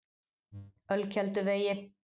Ölkelduvegi